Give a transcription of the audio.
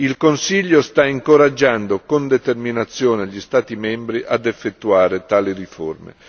Il Consiglio sta incoraggiando con determinazione gli Stati membri a effettuare tali riforme.